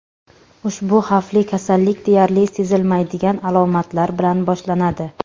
Ushbu xavfli kasallik deyarli sezilmaydigan alomatlar bilan boshlanadi.